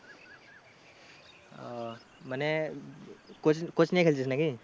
ও মানে coach coaching এ খেলছিস নাকি?